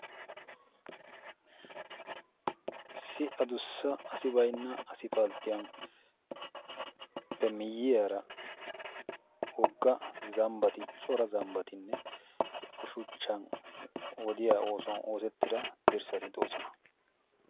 Issi adussa asi baynna asipalttiyan pemiyiyaara hogga zambbati cora zambbatinne shuchchan odiya oosuwan oosettida dirssati doosona.